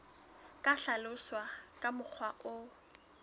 ka hlaloswa ka mokgwa o